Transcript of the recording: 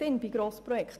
Sie macht Sinn.